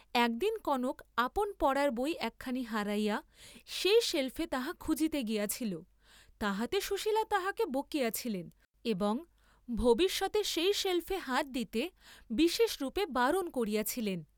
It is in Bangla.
একদিন কনক আপন পড়ার বই একখানি হারাইয়া সেই সেল্‌ফে তাহা খুঁজিতে গিয়াছিল, তাহাতে সুশীলা তাহাকে বকিয়াছিলেন এবং ভবিষ্যতে সেই সেল্‌ফে হাত দিতে বিশেষরূপে বারণ করিয়াছিলেন।